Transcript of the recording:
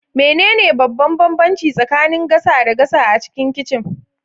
Menene babban bambanci tsakanin gasa da gasa a cikin kicin?